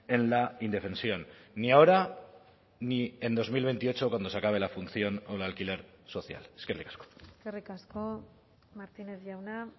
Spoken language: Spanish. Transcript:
en la indefensión ni ahora ni en dos mil veintiocho cuando se acabe la función o el alquiler social eskerrik asko eskerrik asko martínez jauna